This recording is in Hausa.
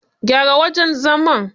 Gyara wajen zaman.